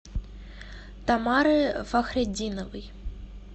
тамары фахретдиновой